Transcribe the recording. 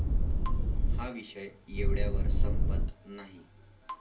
हा विषय एवढ्यावर संपत नाही.